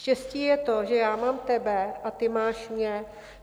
Štěstí je to, že já mám tebe a ty máš mě.